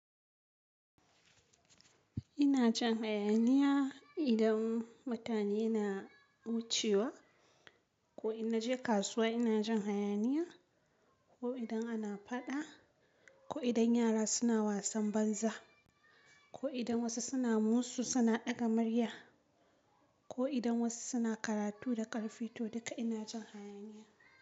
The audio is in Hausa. Ina jin hayaniya idan mutane na wucewa ko ina je kasuwa ina jin hayaniya ko idan ana faɗa ko idan yara suna wasan banza ko idan wasu suna musu suna ɗaga murya ko idan wasu suna karatu da ƙarfi to duka ina jin hayaniya.